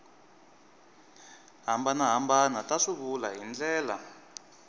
hambanahambana ta swivulwa hi ndlela